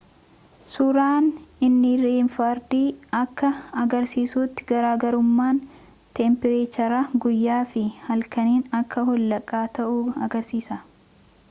suuraan infiraareedii akka agarsiisutti garaagarummaan teempireechara guyyaa fi halkanii akka holqaa ta'uu agarsiisa